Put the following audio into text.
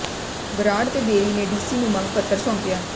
ਬਰਾੜ ਤੇ ਬੇਰੀ ਨੇ ਡੀਸੀ ਨੂੰ ਮੰਗ ਪੱਤਰ ਸੌਂਪਿਆ